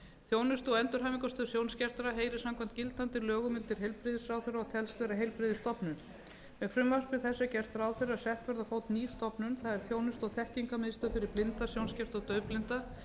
þjónustu og endurhæfingarstöð sjónskertra heyrir samkvæmt gildandi lögum undir heilbrigðisráðherra og telst vera heilbrigðisstofnun með frumvarpi þessu er gert ráð fyrir að sett verði á fót ný stofnun það er þjónustu og þekkingarmiðstöð fyrir blinda sjónskerta og daufblinda